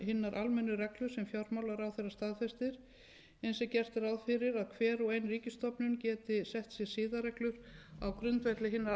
hinar almennu reglur sem fjármálaráðherra staðfestir eins er gert ráð fyrir að hver og ein ríkisstofnun geti sett sér siðareglur á grundvelli hinna